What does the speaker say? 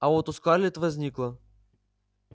а вот у скарлетт возникло